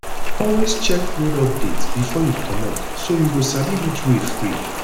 always check road update before you comot so you go sabi which way free